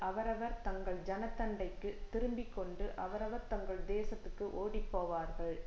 அவரவர் தங்கள் ஜனத்தண்டைக்குத் திரும்பிக்கொண்டு அவரவர் தங்கள் தேசத்துக்கு ஓடிப்போவார்கள்